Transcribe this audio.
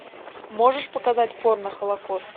можешь показать порно холокост